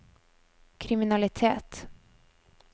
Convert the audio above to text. kriminalitet